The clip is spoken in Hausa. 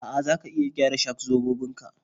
A'a, za ka iya gyara shak-zobobin ka